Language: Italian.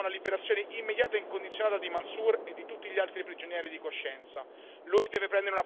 A gran voce, chiediamo la liberazione immediata e incondizionata di Mansoor e di tutti gli altri prigionieri di coscienza.